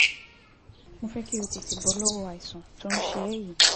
Mo fẹ́ kí o o tètè bọ́ lọ́wọ́ àìsàn tó ń ṣe ẹ́ yìí